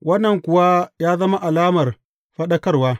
Wannan kuwa ya zama alamar faɗakarwa.